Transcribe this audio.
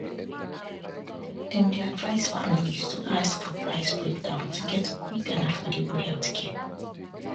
dem dey advise families to ask for price breakdown to get quick and affordable healthcare